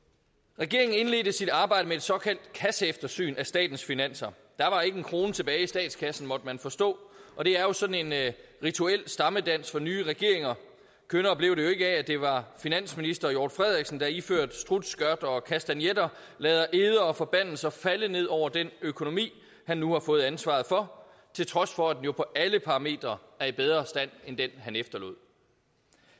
regeringen indledte sit arbejde med et såkaldt kasseeftersyn af statens finanser der var ikke en krone tilbage i statskassen måtte man forstå og det er jo sådan en rituel stammedans for nye regeringer kønnere blev det jo ikke af at det var finansministeren der iført strutskørt og kastagnetter lod eder og forbandelser falde ned over den økonomi han nu har fået ansvaret for til trods for at den jo på alle parametre er i bedre stand end den han efterlod